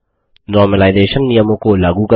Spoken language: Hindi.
नॉर्मलाइजेशन सामान्यकरण नियमों को लागू करना